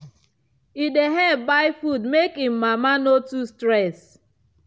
e dey help buy food make him mama no too stress.